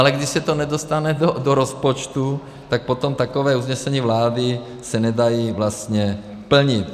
Ale když se to nedostane do rozpočtu, tak potom taková usnesení vlády se nedají vlastně plnit.